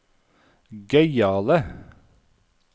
gøyale